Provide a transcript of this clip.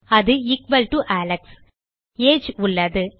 அது equal to Alex160 age உள்ளது